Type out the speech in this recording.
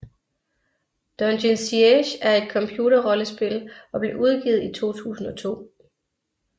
Dungeon Siege er et computerrollespil og blev udgivet i 2002